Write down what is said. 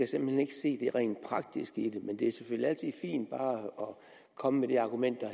simpelt hen ikke se det rent praktiske i det men det er selvfølgelig altid fint bare at komme med det argument der